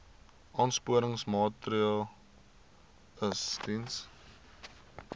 aansporingsmaatre ls diens